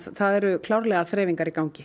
það eru klárlega þreifingar í gangi